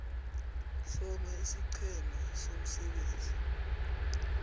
hloma isiqhema somsebenzi